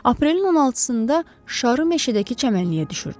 Aprelin 16-da şarı meşədəki çəmənliyə düşürdülər.